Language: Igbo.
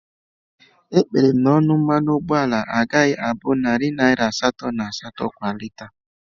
Ekpere m na ọnụ mmanụ ụgbọala agaghị abụ narị naira asatọ na asatọ kwa lita